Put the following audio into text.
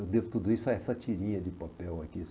Eu devo tudo isso a essa tirinha de papel aqui.